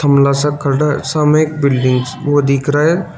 सा खड़ा है सामने एक बिल्डिंग्स वो दिख रहा है।